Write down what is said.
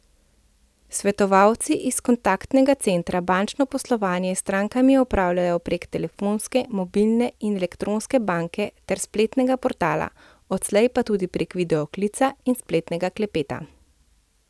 Svetovalci iz kontaktnega centra bančno poslovanje s strankami opravljajo preko telefonske, mobilne in elektronske banke ter spletnega portala, odslej pa tudi prek video klica in spletnega klepeta.